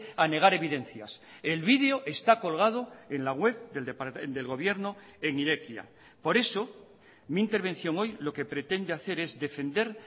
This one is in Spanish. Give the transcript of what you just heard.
a negar evidencias el video está colgado en la web del gobierno en irekia por eso mi intervención hoy lo que pretende hacer es defender